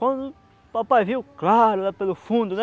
Quando o papai viu, claro, lá pelo fundo, né?